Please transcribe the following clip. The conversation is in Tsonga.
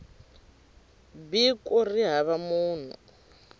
b ku ri hava munhu